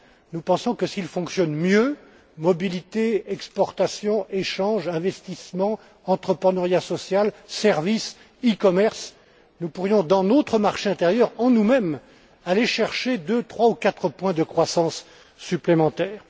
Nous pensons que s'il fonctionne mieux en ce qui concerne la mobilité, les exportations, les échanges, l'investissement, l'entrepreneuriat social, les services, e commerce, nous pourrions dans notre marché intérieur, en nous mêmes, aller chercher deux, trois ou quatre points de croissance supplémentaires.